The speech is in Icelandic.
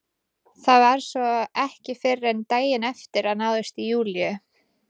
Það var svo ekki fyrr en daginn eftir að náðist í Júlíu.